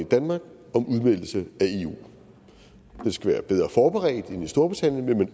i danmark om udmeldelse af eu den skal være bedre forberedt end i storbritannien